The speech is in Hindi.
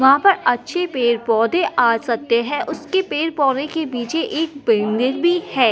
वहाँ पर अच्छे पेड़-पौधे आ सकते हैं उसके पेड़-पौधे के पिछे एक बिल्डिंग भी है।